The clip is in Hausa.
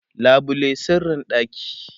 labule sirrin ɗaki